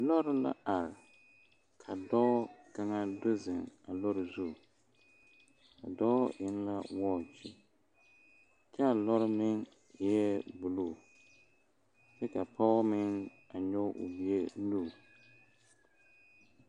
Lɔre la are ka dɔɔ kaŋa do zeŋ a lɔre zu a dɔɔ eŋ la wɔɔkyi kyɛ a lɔre meŋ eɛ buluu kyɛ ka pɔge meŋ a nyoŋ o bie nu.